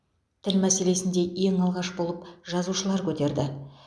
тіл мәселесін де ең алғаш болып жазушылар көтерді